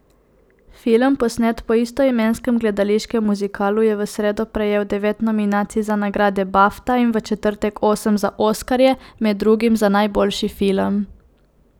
Film, posnet po istoimenskem gledališkem muzikalu, je v sredo prejel devet nominacij za nagrade bafta in v četrtek osem za oskarje, med drugim za najboljši film.